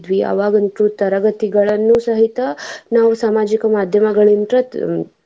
ಅವಾಗಂತು ತರಗತಿಗಳನ್ನು ಸಹಿತ ನಾವ್ ಸಾಮಾಜಿಕ ಮಾದ್ಯಮಗಳಿಂತ್ರ.